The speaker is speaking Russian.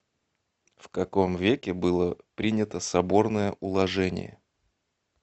в каком веке было принято соборное уложение